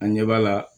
An ɲɛ b'a la